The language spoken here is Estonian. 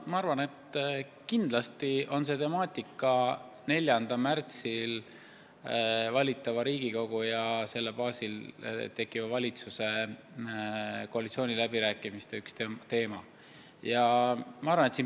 Ma arvan, et kindlasti on see 3. märtsil valitava Riigikogu ja selle baasil tekkiva valitsuse koalitsiooniläbirääkimiste üks teema.